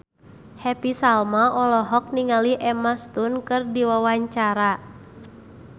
Happy Salma olohok ningali Emma Stone keur diwawancara